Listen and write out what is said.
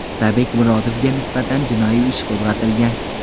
Otabek Murodovga nisbatan jinoiy ish qo‘zg‘atilgan.